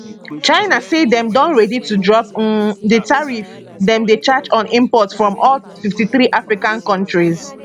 china say dem don ready to drop um di tariffs dem dey charge on imports from all 53 african kontris